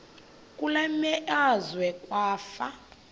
kule meazwe kwafa